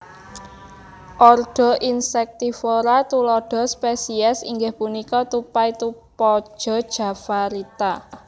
Ordo Insectivora tuladha spesies inggih punika tupai tupaja javarita